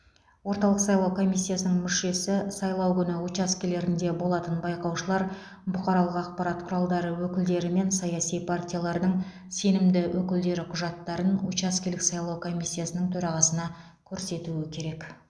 орталық сайлау комиссиясының мүшесі сайлау күні учаскелерінде болатын байқаушылар бұқаралық ақпарат құралдары өкілдері мен саяси партиялардың сенімді өкілдері құжаттарын учаскелік сайлау комиссиясының төрағасына көрсетуі керек